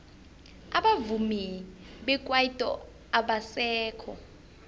abavumi bekwaito abasekho